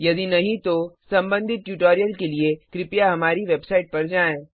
यदि नहीं तो संबंधित ट्यूटोरियल के लिए कृपया हमारी वेबसाइट पर जाएँ